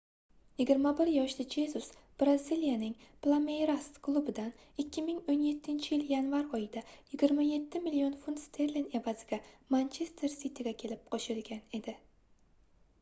21 yoshli jezus braziliyaning plameyras klubidan 2017-yil yanvar oyida 27 million funt sterling evaziga manchester siti"ga kelib qo'shilgan edi